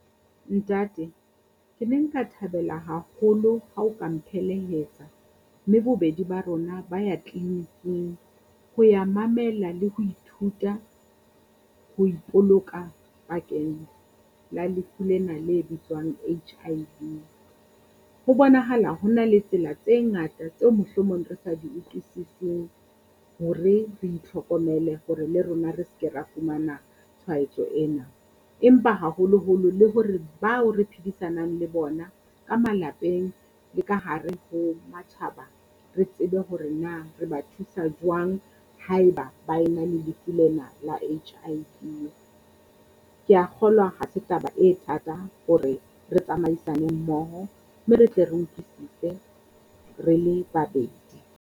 Ntate ke ne nka thabela haholo hao ka mphelehetsa mme bobedi ba rona ba ya tleleniking ho ya mamela le ho ithuta ho ipoloka bakeng la lefu lena le bitswang H_I_V. Ho bonahala ho na le tsela tse ngata tseo mohlomong re sa di utlisiseng hore re itlhokomele hore le rona re se ke ra fumana tshwaetso ena, empa haholoholo le hore bao re phedisanang le bona ka malapeng le ka hare ho matjhaba. Re tsebe hore na re ba thusa jwang haeba ba ena lefu lena la H_I_V, kea kgolwa ha se taba e thata hore re tsamaisane mmoho mme re tle re utlwisise re le babedi.